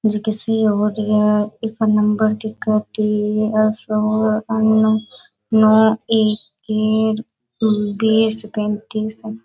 जे किसी और या एक नंबर की बीस पैंतीस --